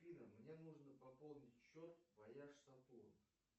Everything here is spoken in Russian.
афина мне нужно пополнить счет вояж сатурн